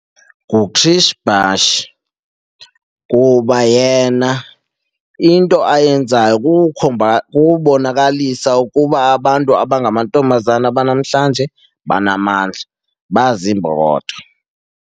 kuba yena into ayenzayo kukukhomba kubonakalisa ukuba abantu abangamantombazana banamhlanje banamandla, baziimbokodo.